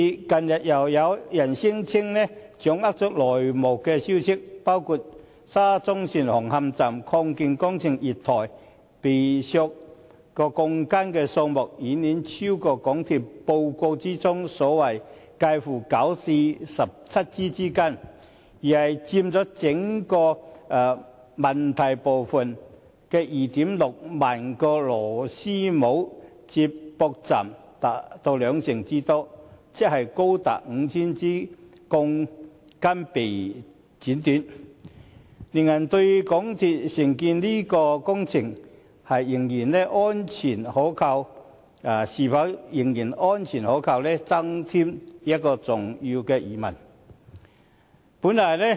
近日，又有人聲稱掌握內幕消息，指沙中線紅磡站月台擴建工程被剪短鋼筋的數目，遠超港鐵公司在報告中所指介乎9至17枝之間，而是佔整個問題部分的 26,000 個螺絲帽/接駁位達兩成之多，即高達 5,000 枝鋼筋被剪短，令人對港鐵公司承建這項工程，是否仍然安全可靠，增添重要的疑問。